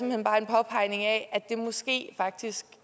hen bare en påpegning af at det måske faktisk